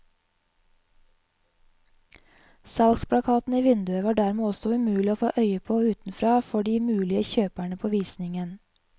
Salgsplakaten i vinduet var dermed også umulig å få øye på utenfra for de mulige kjøperne på visningen.